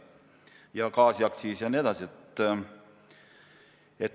Ka gaas on kallinenud.